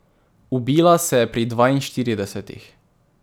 Ubila se je pri dvainštiridesetih.